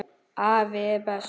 Afi er bestur.